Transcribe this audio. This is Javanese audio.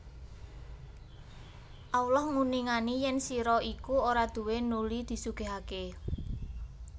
Allah nguningani yen sira iku ora duwé nuli disugihake